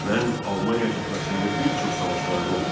Mən Almaniya cəbhəsində bir çox savaşlardayam.